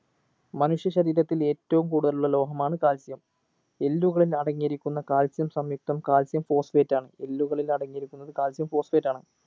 മനുഷ്യ ശരീരത്തിൽ ഏറ്റവും കൂടുതൽ ഉള്ള ലോഹമാണ് calcium എല്ലുകളിൽ അടങ്ങിയിരിക്കുന്ന calcium സംയുക്തം calcium phosphate ആണ് എല്ലുകളിൽ അടങ്ങിയിരിക്കുന്നത് calcium phosphate ആണ്